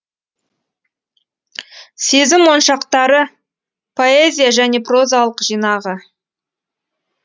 сезім моншақтары поэзия және прозалық жинағы